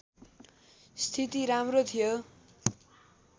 स्थिती राम्रो थियो